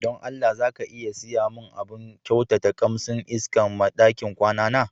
Don Allah, za ka iya siya mun abun kyautata kamsin iska ma ɗakin kwana na?